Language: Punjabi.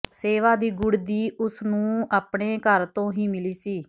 ਸੇਵਾ ਦੀ ਗੁੜ੍ਹਦੀ ਉਸਨੂੰ ਨੂੰ ਆਪਣੇ ਘਰ ਤੋਂ ਹੀ ਮਿਲੀ ਸੀ